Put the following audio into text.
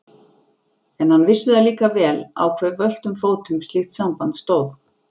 En hann vissi það líka vel á hve völtum fótum slíkt samband stóð.